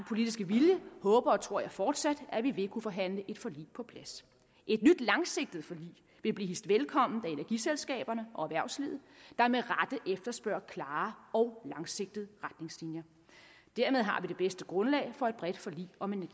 politiske vilje håber og tror jeg fortsat at vi vil kunne forhandle et forlig på plads et nyt langsigtet forlig vil blive hilst velkommen af energiselskaberne og erhvervslivet der med rette efterspørger klare og langsigtede retningslinjer dermed har vi det bedste grundlag for et bredt forlig om en